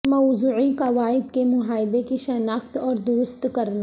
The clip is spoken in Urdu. موضوعی قواعد کے معاہدے کی شناخت اور درست کرنا